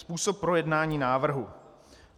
Způsob projednání návrhu.